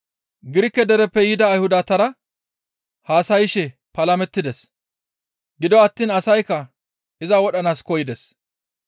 Girike dereppe yida Ayhudatara haasayshe palamettides; gido attiin asaykka iza wodhanaas koyides.